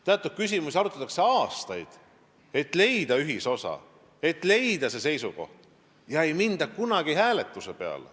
Teatud küsimusi arutatakse seal aastaid, et leida ühisosa, et leida seisukoht, ega minda kunagi hääletuse peale.